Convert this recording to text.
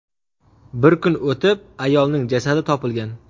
Bir kun o‘tib, ayolning jasadi topilgan.